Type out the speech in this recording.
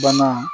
Bana